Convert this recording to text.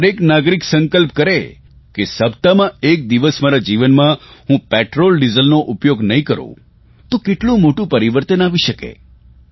જો દરેક નાગરિક સંક્લ્પ કરે કે સપ્તાહમાં એક દિવસ મારા જીવનમાં હું પેટ્રોલડીઝલનો ઉપયોગ નહીં કરૂં તો કેટલું મોટું પરિવર્તન આવી શકે